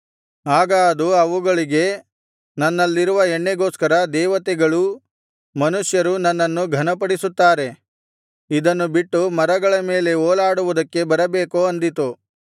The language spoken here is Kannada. ಆಗ ಅದು ಅವುಗಳಿಗೆ ನನ್ನಲ್ಲಿರುವ ಎಣ್ಣೆಗೋಸ್ಕರ ದೇವತೆಗಳೂ ಮನುಷ್ಯರು ನನ್ನನ್ನು ಘನಪಡಿಸುತ್ತಾರೆ ಇದನ್ನು ಬಿಟ್ಟು ಮರಗಳ ಮೇಲೆ ಓಲಾಡುವುದಕ್ಕೆ ಬರಬೇಕೋ ಅಂದಿತು